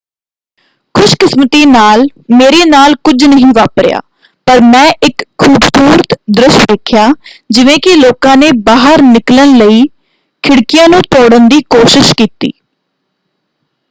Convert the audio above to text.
"ਖੁਸ਼ਕਿਸਮਤੀ ਨਾਲ ਮੇਰੇ ਨਾਲ ਕੁਝ ਨਹੀਂ ਵਾਪਰਿਆ ਪਰ ਮੈਂ ਇੱਕ ਖੂਬਸੂਰਤ ਦ੍ਰਿਸ਼ ਵੇਖਿਆ ਜਿਵੇਂ ਕਿ ਲੋਕਾਂ ਨੇ ਬਾਹਰ ਨਿਕਲਣ ਲਈ ਖਿੜਕੀਆਂ ਨੂੰ ਤੋੜਨ ਦੀ ਕੋਸ਼ਿਸ਼ ਕੀਤੀ।